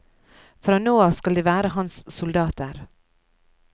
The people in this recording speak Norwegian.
Fra nå av skal de være hans soldater.